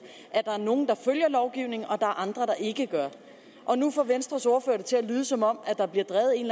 at der er nogle der følger lovgivningen og at er andre der ikke gør og nu får venstres ordfører det til at lyde som om der bliver drevet en